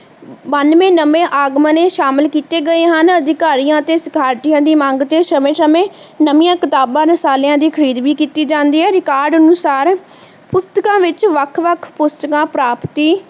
ਬਾਨਵੇ ਨਵੇਂ ਆਗਮਣੇ ਸ਼ਾਮਿਲ ਕੀਤੇ ਗਏ ਹਨ ਅਧਿਕਾਰੀਆਂ ਅਤੇ ਸਾਰਥੀਆਂ ਦੀ ਮੰਗ ਚ ਸਮੇਂ ਸਮੇਂ ਨਵੀਂਆਂ ਕਿਤਾਬਾਂ ਰਸਾਲਿਆਂ ਦੀ ਖ਼ਰੀਦ ਵੀ ਕੀਤੀ ਜਾਂਦੀ ਹੈ record ਅਨੁਸਾਰ ਪੁਸਤਕਾਂ ਵਿਚ ਵੱਖ ਵੱਖ ਪੁਸਤਕਾਂ ਪ੍ਰਾਪਤੀ